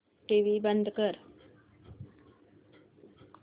TV बंद कर